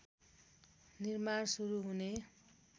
निर्माण सुरु हुने